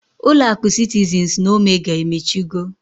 Ulo akụ sitizinz na omega emechigo.